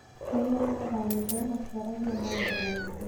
Rĩrĩa maathamire, matiaragia maũndũ maingĩ.